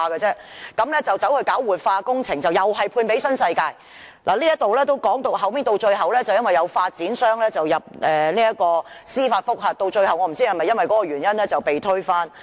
他計劃進行活化工程，又是判給新世界發展有限公司，後來有發展商入稟申請司法覆核，我不知道計劃最後是否因為那個原因而被推翻？